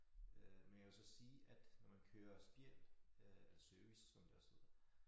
Øh men jeg vil så sige at når man kører spjæld øh service som det også hedder